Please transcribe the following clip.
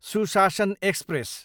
सुशासन एक्सप्रेस